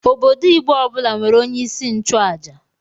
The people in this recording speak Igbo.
Obodo Igbo ọbụla nwere onye isi nchụaja.